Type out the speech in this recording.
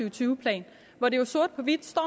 og tyve plan hvor der jo sort på hvidt står